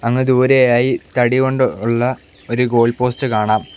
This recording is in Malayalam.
അങ്ങ് ദൂരെയായി തടി കൊണ്ടുള്ള ഒരു ഗോൾ പോസ്റ്റ് കാണാം.